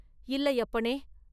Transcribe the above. “இல்லை, அப்பனே!